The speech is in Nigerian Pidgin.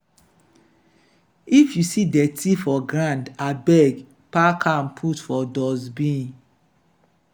if you see dirty for ground abeg pack am put for dustbin.